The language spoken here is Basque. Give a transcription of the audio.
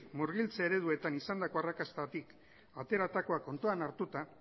murgiltze ereduetan izandako arrakastatik ateratakoa kontuan hartuta